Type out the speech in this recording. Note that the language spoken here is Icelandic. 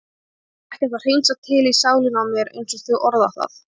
Ég þarf ekkert að hreinsa til í sálinni á mér einsog þau orða það.